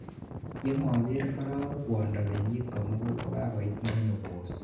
yemoker arowek kwondo kenyit komugul kokakoit menopause